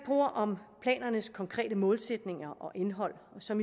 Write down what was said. ord om planernes konkrete målsætninger og indhold som